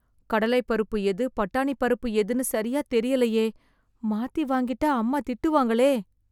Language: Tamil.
கடலை பருப்பு எது, பட்டாணி பருப்பு எதுன்னு சரியா தெரியலயே... மாத்தி வாங்கிட்டா அம்மா திட்டுவாங்களே..